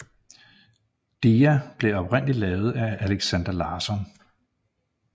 Dia blev oprindeligt lavet af Alexander Larsson